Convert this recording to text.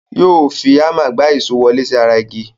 Yóò fi háńmà gbà èsó wọlé sí ara igi.